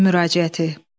müraciəti.